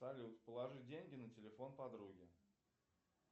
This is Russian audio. салют положи деньги на телефон подруги